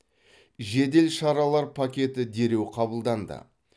жедел шаралар пакеті дереу қабылданды